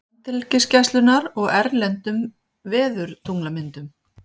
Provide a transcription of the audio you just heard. Landhelgisgæslunnar og erlendum veðurtunglamyndum.